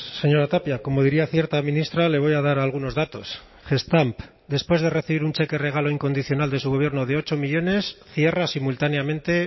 señora tapia como diría cierta ministra le voy a dar algunos datos gestamp después de recibir un cheque regalo incondicional de su gobierno de ocho millónes cierra simultáneamente